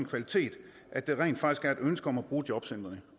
kvalitet at der rent faktisk er et ønske om at bruge jobcentrene